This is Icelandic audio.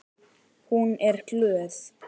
Hún er glöð.